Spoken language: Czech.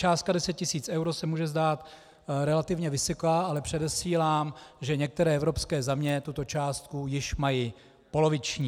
Částka 10 tisíc eur se může zdát relativně vysoká, ale předesílám, že některé evropské země tuto částku již mají poloviční.